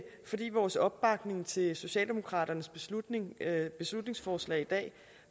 fordi vores opbakning til socialdemokratiets beslutningsforslag beslutningsforslag i dag